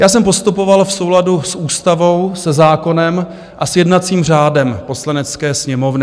Já jsem postupoval v souladu s ústavou, se zákonem a s jednacím řádem Poslanecké sněmovny.